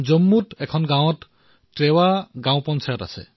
জম্মুৰ এখন গাঁও ত্ৰেৱা গাঁও পঞ্চায়ত